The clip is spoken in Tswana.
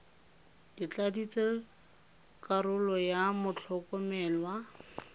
ke tladitse karolo ya motlhokomelwa